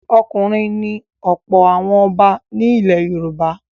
Ọkùnrin ni ọ̀pọ̀ àwọn ọba ilẹ̀ Yorùbá.